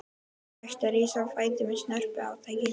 Tekst að rísa á fætur með snörpu átaki.